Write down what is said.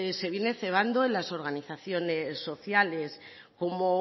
se viene cebando en las organizaciones sociales como